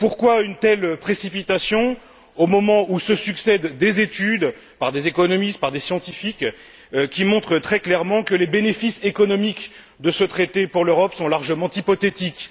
Pourquoi une telle précipitation au moment où se succèdent des études réalisées par des économistes et par des scientifiques qui montrent très clairement que les bénéfices économiques de ce traité pour l'Europe sont largement hypothétiques?